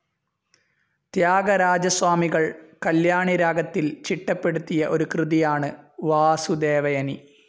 ത്യാഗരാജസ്വാമികൾ കല്യാണിരാഗത്തിൽ ചിട്ടപ്പെടുത്തിയ ഒരു കൃതിയാണ് വാസുദേവയനി.